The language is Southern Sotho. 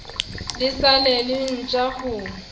le sa le letjha ho